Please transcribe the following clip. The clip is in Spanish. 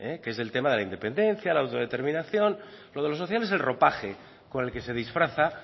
que es del tema de independencia la autodeterminación es el ropaje con que se disfraza